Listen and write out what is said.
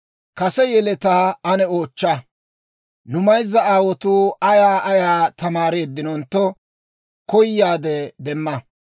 «Kase yeletaa ane oochcha; nu mayzza aawotuu ayaa ayaa tamaareeddentto, koyaade demma.